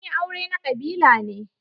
Sun yi aure na kabila ne.